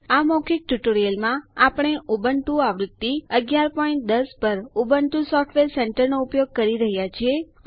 આ મૌખિક ટ્યુટોરીયલમાં આપણે ઉબુન્ટુ આવૃત્તિ 1110 પર ઉબુન્ટુ સોફ્ટવેર સેન્ટર નો ઉપયોગ કરી રહ્યા છીએ